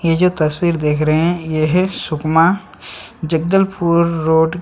ये जो तस्वीर देख रहै हैं ये है सुकमा जगदलपुर रोड --